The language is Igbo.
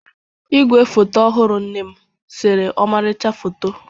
Igwe foto ọhụrụ nne m sere ọmarịcha foto.